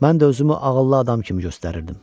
Mən də özümü ağıllı adam kimi göstərirdim.